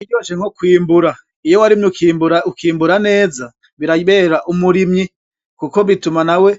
Ntakiryoshe nko kwimbura, iyo warimye ukimbura ,ukimbura neza birabera umurimyi. kuko bituma nawe